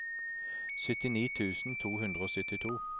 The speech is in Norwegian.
syttini tusen to hundre og syttito